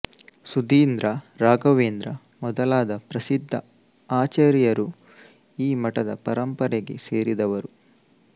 ಸುಧೀಂದ್ರ ರಾಘವೇಂದ್ರ ಮೊದಲಾದ ಪ್ರಸಿದ್ಧ ಆಚಾರ್ಯರು ಈ ಮಠದ ಪರಂಪರೆಗೆ ಸೇರಿದವರು